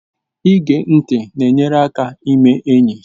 Ige ntị na-enyere gị aka ime enyi